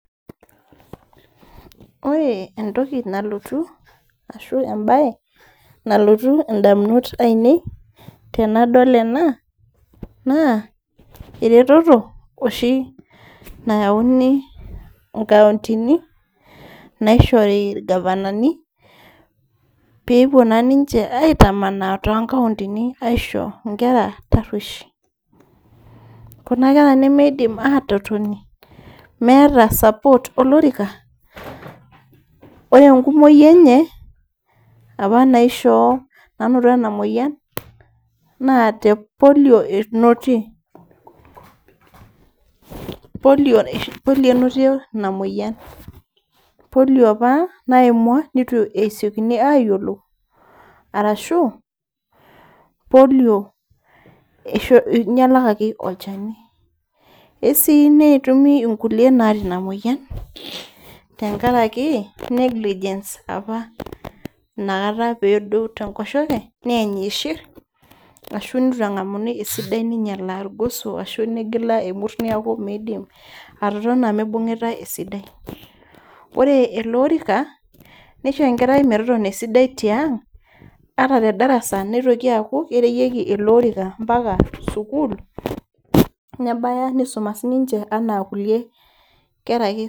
Ore entoki nalotu ashu embae nalotu indamunot ainei naa ereteto oshi nayauni nkauntini naishori ingavanani pepuo naa ninche aitamanaa tonkauntini aisho inkera taruoish , kuna kera nemeidim atotoni meeta support olorika .Ore enkumoi enye apa naishoo , nanoto enamoyian naa tepolio enotie , polio enotie ina moyian . Polio apa naimua neitu esiokini ayiolou arashu polio inyalakaki olchani . Isii netumi inkulie naata inamoyian tenkaraki negligence apa inakata pedou tenkoshoke niany ishir ashu nitu engamuni esidai ashu negila emurta niaku midim atotona mibungitae esidai. Ore ele orika , nisho enkerai metotona esidai tiang ata tedarasa nitoki aaku kerewieki ele orika sukul ,nebaya nisuma sinche anaa kulie kera ake.